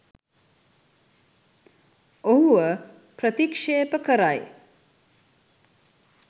ඔහුව ප්‍රතික්ෂේප කරයි